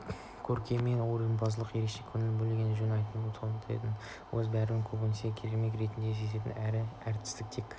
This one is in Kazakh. көркемөнерпаздыққа ерекше көңіл бөлген жөн өйткені солдат өзін бәрібір көбінесе көрермен ретінде сезінетін әрі әртістерге тек